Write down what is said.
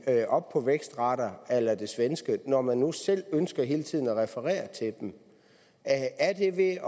op på vækstrater a la de svenske når man nu selv hele tiden refererer til dem er det ved